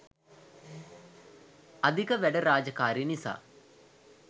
අධික වැඩ රාජකාරී නිසා